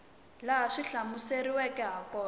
laha swi hlamuseriweke ha kona